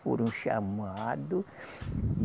Foram chamado